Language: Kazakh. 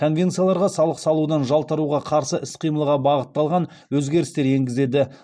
конвенцияларға салық салудан жалтаруға қарсы іс қимылға бағытталған өзгерістер енгізеді